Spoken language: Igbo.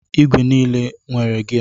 Igwe n'ile enwere gia?